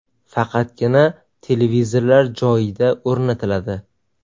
Faqatgina televizorlar joyida o‘rnatiladi .